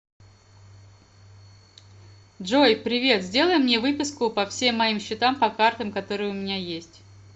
джой привет сделай мне выписку по всем моим счетам по картам которые у меня есть